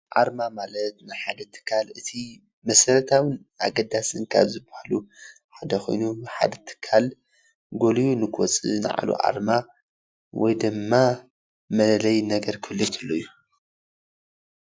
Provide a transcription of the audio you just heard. ኣርማ ማለት ናይ ሓደ ትካል እቲ መሰረታዊን ኣገዳሲ ካብ ዝባሃሉ ሓደ ኮይኑ ሓደ ትካል ጎሊሁ ንክወፅእ ናይ ባዕሉ ኣርማ ወይድማ መለለይ ነገር ክህሉ ከሎ እዩ።